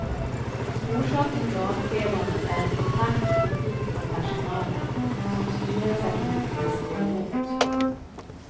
Orsaken till avskedandet är en kompakt kritik från personalen, som styrelsen inte kunde stå emot.